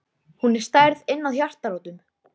Hún er særð inn að hjartarótum.